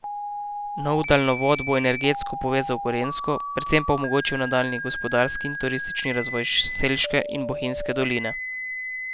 Nov daljnovod bo energetsko povezal Gorenjsko, predvsem pa omogočil nadaljnji gospodarski in turistični razvoj Selške in Bohinjske doline.